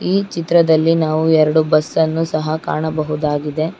ಈ ಚಿತ್ರದಲ್ಲಿ ನಾವು ಎರಡು ಬಸ್ಸ ಅನ್ನು ಸಹ ಕಾಣಬಹುದಾಗಿದೆ.